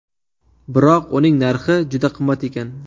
Biroq uning narxi juda qimmat ekan.